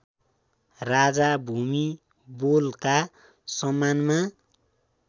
राजा भूमिबोलका सम्मानमा